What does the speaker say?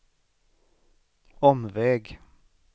omväg